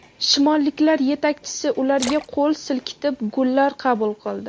Shimolliklar yetakchisi ularga qo‘l silkitib gullar qabul qildi.